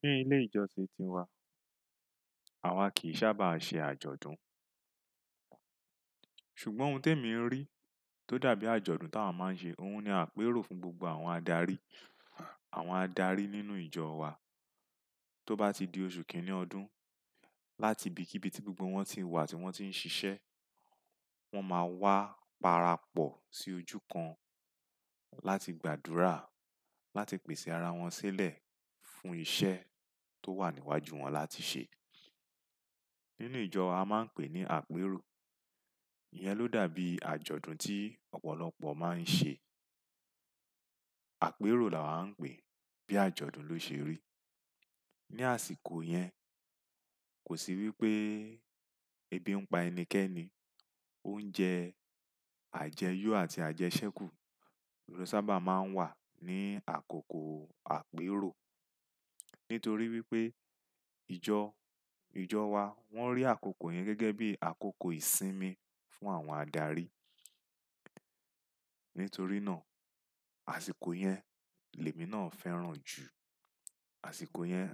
Ní ilé ìjọsìn ti wa, àwa kìí sábà ṣe àjọ̀dún. Ṣùgbọ́n ohun tó èmi ń rí, tó dàbí àjọ̀dún tí àwa máa ń ṣe, òun ni àpérò fún gbogbo àwọn adarí, àwọn adarí nínú ìjọ wa. Tó bá ti di oṣù kìíní ọdún, láti ibi kí ibi tí gbogbo wọn ti wà tí wọ́n ti ń ṣiṣẹ́, wọ́n máa wá parapọ̀ sí ojú kan láti gbàdúrà, láti pèsè ara wọn sílẹ̀ fún iṣẹ́ tó wà níwájú wọn láti ṣe. Nínú ìjọ, a máa ń pè ní àpérò. Iyẹn ló dàbí àjọ̀dún tí ọ̀pọ̀lọpọ̀ máa ń ṣe. Àpérò la wàá ń pè bí àjọ̀dún ló ṣe rí. Ni àsìkò yẹn, kò sì wí pé ebi ń pa ẹnikẹ́ni. Oúnjẹ àjẹyo àti àjẹsẹ́kù ló sábà máa ń wà ní àkókò àpérò. Nítorí wí pé ìjọ, ìjọ wa wọ́n rí àkókò yẹn gẹ́gẹ́ bí àkókò ìsinmi fún àwọn adarí. Nítorí náà, àsìkò yẹn, lèmi náà fẹ́ràn jù. Àsìkò yẹn,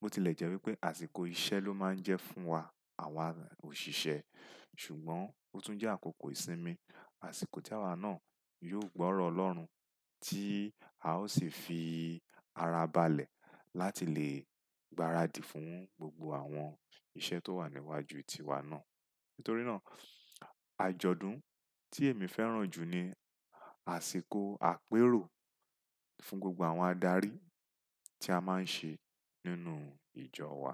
bó ti lẹ̀ jẹ́ wí pé àsìkò iṣẹ́ ló máa ń jẹ́ fún wa àwa òṣìṣẹ́, ṣùgbọ́n ó tún jẹ́ àkókò ìsinmi. Àsìkò tí àwa náà yóò gbọ́rọ̀ Ọlọ́run tí a ó sì fi ara balẹ̀ láti lè gbaradì fún gbogbo àwọn iṣẹ́ tó wà níwájú tiwa náà. Nítorí náà, àjọ̀dún tí èmi fẹ́ràn jù ni àsìkò àpérò fún gbogbo àwọn adarí tí a máa ń ṣe nínú ìjọ wa.